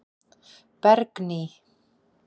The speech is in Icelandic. Bergný